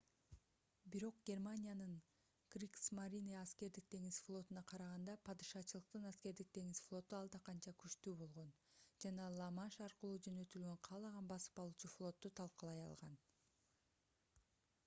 бирок германиянын кригсмарине аскердик деңиз флотуна караганда падышачылыктын аскердик деңиз флоту алда канча күчтүү болгон жана ла-манш аркылуу жөнөтүлгөн каалаган басып алуучу флотту талкалай алган